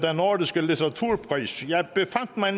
nordiske litteraturpris jeg befandt mig